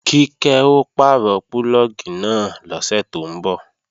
Kíkẹ́ ó pàrọ̀ púlọ̀gì náà lọ́sẹ̀ tó ń bọ̀